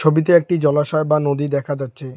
একটি জলাশয় বা নদী দেখা যাচ্ছে।